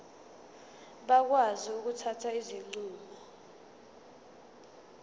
bakwazi ukuthatha izinqumo